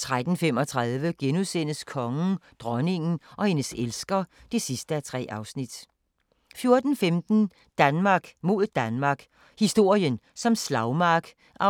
13:35: Kongen, dronningen og hendes elsker (3:3)* 14:15: Danmark mod Danmark – historien som slagmark (1:2)